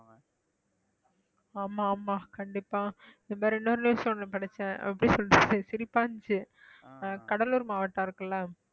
ஆமா ஆமா கண்டிப்பா இந்த மாதிரி இன்னொரு news ஒண்ணு படிச்சேன் அப்படின்னு சொல்லிட்டு சிரிப்பா இருந்துச்சு கடலூர் மாவட்டம் இருக்குல்ல